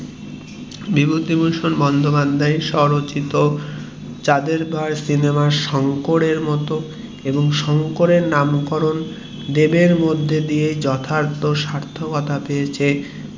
বিভূতিভূষণ বন্দোপাধ্যায়ের স্বরচিত চাঁদের পাহাড় সিনেমা এর শঙ্করের মতো এবং দেব এর মধ্যে দিয়ে শঙ্করের নাম এর স্বার্থকতা যথার্থ ভাব এ পেয়েছে